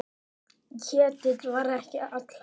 Ketill var ekki allra.